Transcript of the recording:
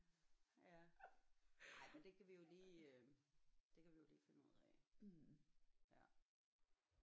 Ja ej men det kan vi jo lige øh det kan vi jo lige finde ud af ja